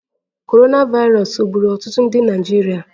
Korona vairos ọ gburu ọtụtụ ndị Naịjirịa?